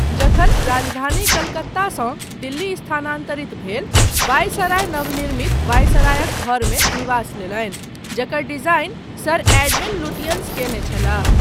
जखन राजधानी कलकत्तासँ दिल्ली स्थानान्तरित भेल, वायसराय नवनिर्मित वायसरायक घरमे निवास लेलनि, जकर डिजाइन सर एडविन लुटियन्स कयने छलाह।